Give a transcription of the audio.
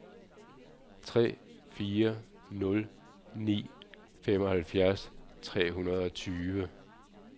tre fire nul ni femoghalvfjerds tre hundrede og tyve